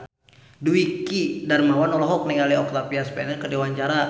Dwiki Darmawan olohok ningali Octavia Spencer keur diwawancara